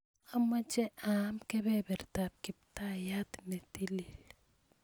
Amache aam kebebertab kiptaiyat n tilil